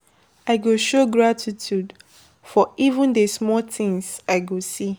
I go show gratitude for even the small things I go see.